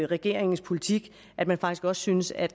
regeringens politik at man faktisk også synes at